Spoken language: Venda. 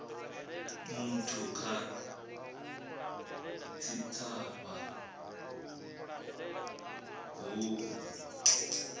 muthu kha tshitshavha hu u